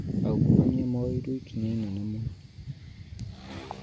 Aungumania moerwo ikinya inene mũno